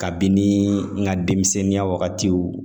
Kabini ŋa demisɛnninya wagatiw